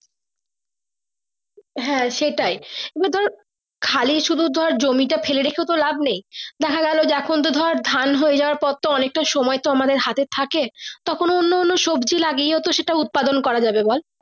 হ্যাঁ সেটাই এগুলো তোর খালি সুদু জমি তো ফেলে রাখে তো লাভ নেই দেখা কালো এখন তো ধরে ধান হয়ে যাওয়ার পর তো অনেকটা সময় তো আমাদের হাতে থাকে তখন অন্য অন্য সবজি জাগিয়ে সেটা উৎপাদন করা যাবে বল।